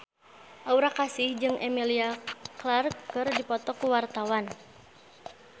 Aura Kasih jeung Emilia Clarke keur dipoto ku wartawan